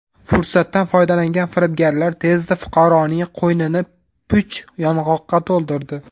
Fursatdan foydalangan firibgarlar tezda fuqaroning qo‘ynini puch yong‘oqqa to‘ldirdi.